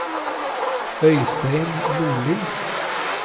Øystein Nordli